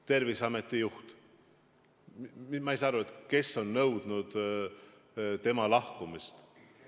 Terviseameti juht – ma ei saa aru, kes on nõudnud tema lahkumist.